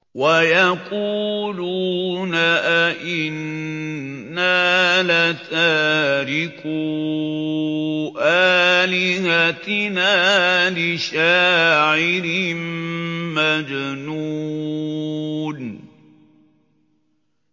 وَيَقُولُونَ أَئِنَّا لَتَارِكُو آلِهَتِنَا لِشَاعِرٍ مَّجْنُونٍ